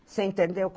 Você entendeu?